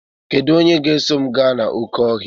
Kedu onye ga-eso m gaa n'oké ọhịa?